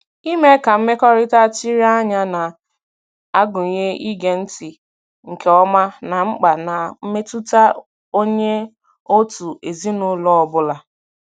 Ime ka mmekọrịta chiri anya na-agụnye ige ntị nke ọma ná mkpa na mmetụta onye òtù ezinụlọ ọ bụla.